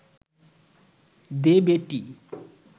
দে বেটী